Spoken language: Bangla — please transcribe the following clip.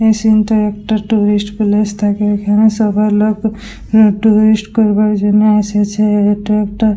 এই সিন টা একটা টুরিস্ট প্লেস থাকে এখানে সবাই লোক টুরিস্ট করবার জন্য এসেছে। এটা একটা--